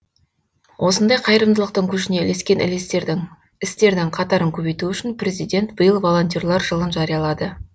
осындай қайырымдылықтың көшіне ілескен істердің қатарын көбейту үшін президент биыл волонтерлар жылын жариялады